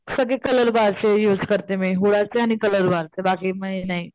सगळे colour bar चे use करते मी हुडा चे आणि कलर बार बाकी मी नाही.